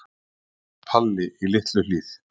Það var Palli í Litlu-Hlíð.